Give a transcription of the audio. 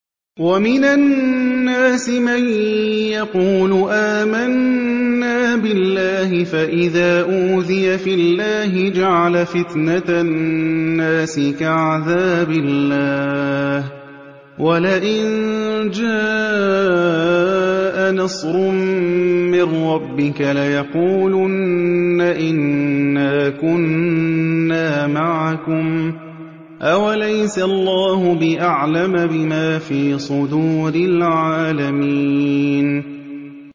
وَمِنَ النَّاسِ مَن يَقُولُ آمَنَّا بِاللَّهِ فَإِذَا أُوذِيَ فِي اللَّهِ جَعَلَ فِتْنَةَ النَّاسِ كَعَذَابِ اللَّهِ وَلَئِن جَاءَ نَصْرٌ مِّن رَّبِّكَ لَيَقُولُنَّ إِنَّا كُنَّا مَعَكُمْ ۚ أَوَلَيْسَ اللَّهُ بِأَعْلَمَ بِمَا فِي صُدُورِ الْعَالَمِينَ